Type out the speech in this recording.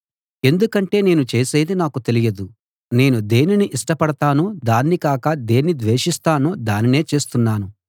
ఎందుకంటే నేను చేసేది నాకు తెలియదు నేను దేనిని ఇష్టపడతానో దాన్ని కాక దేన్ని ద్వేషిస్తానో దానినే చేస్తున్నాను